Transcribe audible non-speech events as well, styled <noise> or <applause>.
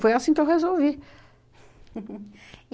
Foi assim que eu resolvi. <laughs>